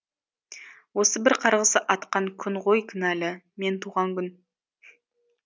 осы бір қарғыс атқан күн ғой кінәлі мен туған күн